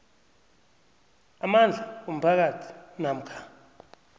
amandla womphakathi namkha